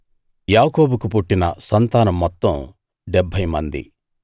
యాకోబుకు పుట్టిన సంతానం మొత్తం 70 మంది